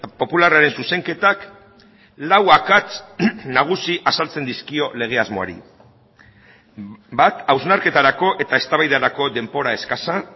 popularraren zuzenketak lau akats nagusi azaltzen dizkio lege asmoari bat hausnarketarako eta eztabaidarako denbora eskasa